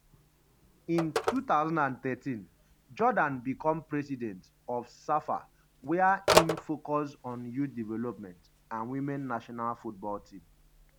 in 2013 jordaan become president of safa wia im focus on youth development and women national football team.